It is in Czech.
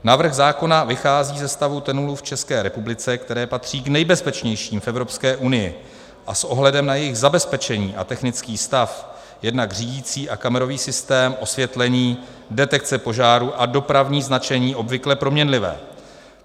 Návrh zákona vychází ze stavu tunelů v České republice, které patří k nejbezpečnějším v Evropské unii, a s ohledem na jejich zabezpečení a technický stav, jednak řídicí a kamerový systém, osvětlení, detekce požárů a dopravní značení obvykle proměnlivé.